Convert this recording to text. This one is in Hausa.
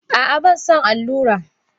A'a banson allura.